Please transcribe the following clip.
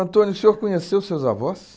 o senhor conheceu os seus avós?